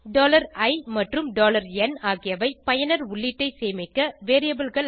i மற்றும் n ஆகியவை பயனர் உள்ளீட்டை சேமிக்க variableகள்